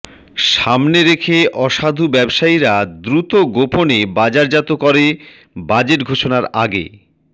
সামনে রেখে অসাধু ব্যবসায়ীরা দ্রুত গোপনে বাজারজাত করে বাজেট ঘোষণার আগে